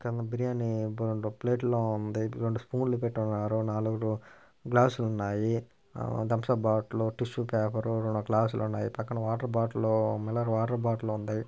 కింద బిర్యాని రెండు ప్లేట్స్ లో ఉంది. రెండు స్పూన్ లు పెట్టారు. నాలుగు గ్లాసు లు ఉన్నాయి. Thums Up bottle tissue paper రెండు గ్లాసు లు ఉన్నాయి. పక్కన water bottle mineral water bottle ఉంది.